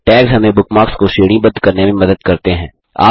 tags हमें bookmarks को श्रेणीबद्ध करने में मदद करते हैं